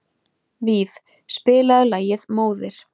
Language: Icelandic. Víf, spilaðu lagið „Móðir“.